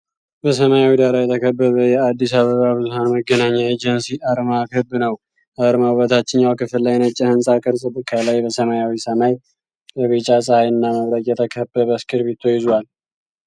በሰማያዊ ዳራ የተከበበ የአዲስ አበባ ብዙኃን መገናኛ ኤጀንሲ አርማ ክብ ነው። አርማው በታችኛው ክፍል ላይ ነጭ የሕንፃ ቅርጽ፣ ከላይ በሰማያዊ ሰማይ በቢጫ ጸሐይና መብረቅ የተከበበ እስክርቢቶ ይዟል።